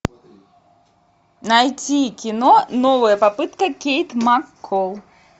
найти кино новая попытка кейт макколл